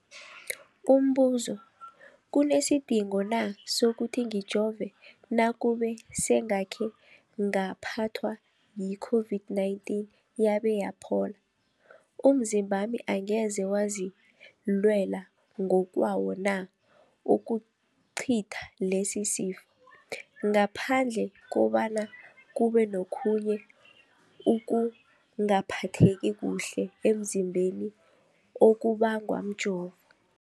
Umbuzo, kunesidingo na sokuthi ngijove nakube sengakhe ngaphathwa yi-COVID-19 yabe yaphola? Umzimbami angeze wazilwela ngokwawo na ukucitha lesisifo, ngaphandle kobana kube nokhunye ukungaphatheki kuhle emzimbeni okubangwa mjovo?